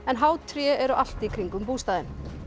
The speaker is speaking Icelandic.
há tré eru allt í kringum bústaðinn